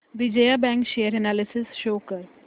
Vijaya bank share analysis show कर